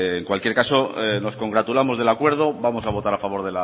en cualquier caso nos congratulamos del acuerdo vamos a votar a favor